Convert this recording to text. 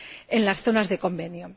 en las zonas del Convenio.